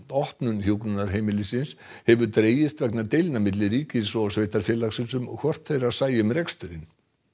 opnun hjúkrunarheimilisins hefur dregist vegna deilna milli ríkis og sveitarfélagsins um hvort þeirra sæi um reksturinn